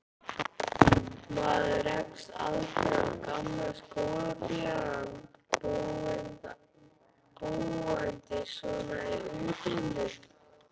Maður rekst aldrei á gamla skólafélaga, búandi svona í útlöndum.